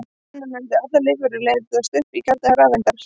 Þannig mundu allar lífverur leysast upp í kjarna og rafeindir.